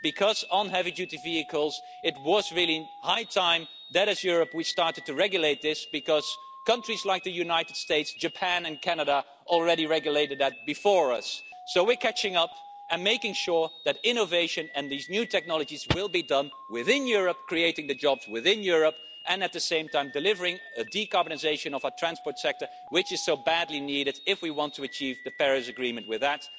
Because on heavy-duty vehicles it was really high time that, as Europe, we started to regulate this because countries like the United States, Japan and Canada already regulated that before us. So we are catching up and making sure that innovation and these new technologies will be done within Europe, creating the jobs within Europe and, at the same time, delivering a decarbonisation of our transport sector, which is so badly needed if we want to achieve the Paris Agreement with that.